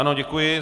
Ano, děkuji.